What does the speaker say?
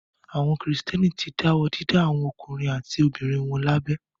Àwọn Kìrìtẹ́ẹ́nì ti dáwọ́ dídá àwọn ọkùnrin àti obìnrin wọn lábẹ.